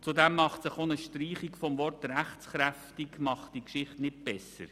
Zudem macht auch eine Streichung des Wortes «rechtskräftig» diese Geschichte nicht besser.